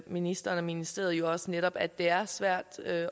ministeren og ministeriet jo også netop at det er svært at